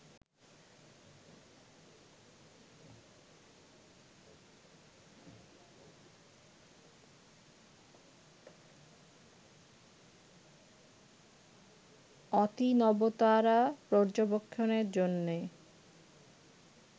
অতিনবতারা পর্যবেক্ষণের জন্য